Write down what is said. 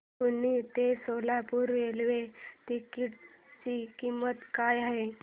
पुणे ते Solapur railway ticket ची किंमत काय आहे